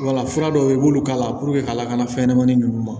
Wala fura dɔw bɛ yen i b'olu k'a la ka lakana fɛnɲɛnɛmanin ninnu ma